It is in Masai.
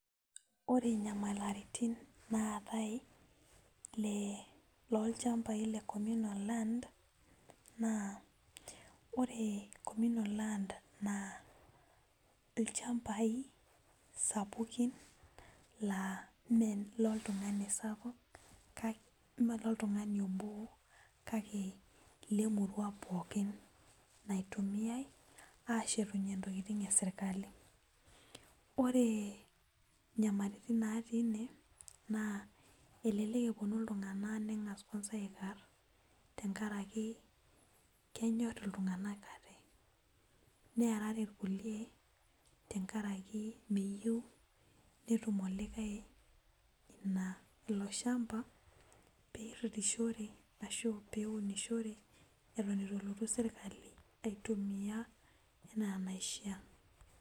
Ore inyamalaritin naatae le loonchambai le cominal landa naa ore naa ilchambai sapukin laa mee ilo loltung'ani obo kake ile murua pookin naitumiyai aashetunyie intokitin esirkali naa ore inyamalaritin naati ine elelek epuonu iltung'anak neng'as aikar tenkaraki kenyor iltung'anak aate neerare inkulie nitum olikae ilo shamba peeunishore eton eitu elotu serkali aitumia enaa enaishia